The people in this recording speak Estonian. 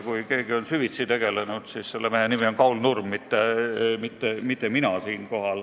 Kui keegi on süvitsi sellega tegelenud, siis selle mehe nimi on Kaul Nurm, mitte mina.